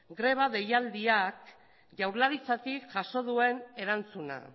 greba deialdiak jaurlaritzatik jaso duen erantzuna